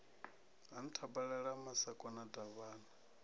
ha nthabalala ha masakona davhana